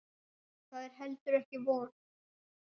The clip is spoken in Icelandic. Það er heldur ekki von.